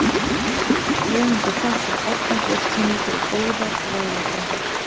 Höfundur þakkar Árna Björnssyni fyrir góðar ráðleggingar.